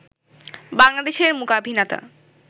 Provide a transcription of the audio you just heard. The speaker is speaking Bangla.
বাংলাদেশের মূকাভিনেতা